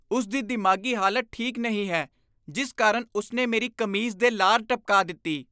ਇਹ ਮੁੰਡੇ ਆਪਣੀਆਂ ਜੁਰਾਬਾਂ ਪੂਰੀ ਤਰ੍ਹਾਂ ਗੰਦੀਆਂ ਕਰ ਦਿੰਦੇ ਹਨ ਅਤੇ ਫਿਰ ਵੀ ਉਨ੍ਹਾਂ ਨੂੰ ਧੋਤੇ ਬਿਨਾਂ ਅਗਲੇ ਮੈਚ ਲਈ ਦੁਬਾਰਾ ਪਹਿਨ ਲੈਂਦੇ ਹਨ।